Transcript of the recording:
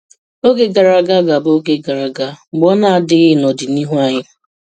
Oge gara aga ga-abụ oge gara aga, mgbe ọ na-adịkwaghị n'ọdịnihu anyị.